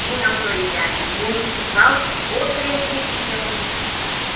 Tinha autoridade municipal, outra equipe que atendia.